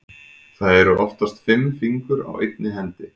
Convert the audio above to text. Það eru oftast fimm fingur á einni hendi.